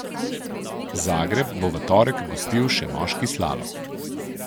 Zagreb bo v torek gostil še moški slalom.